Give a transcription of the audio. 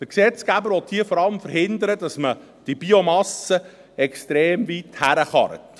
Der Gesetzgeber will hier vor allem verhindern, dass man die Biomasse von extrem weit herfährt.